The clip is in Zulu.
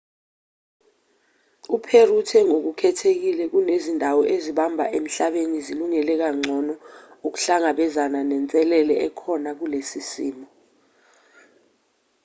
u-perry uthe ngokukhethekile kunezindawo ezimbalwa emhlabeni ezilungele kangcono ukuhlangabezana nenselele ekhona kulesi simo